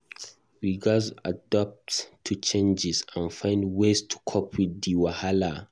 We gatz adapt to changes and find ways to cope with di wahala.